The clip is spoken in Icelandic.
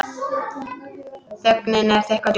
Þögnin er þykk og djúp.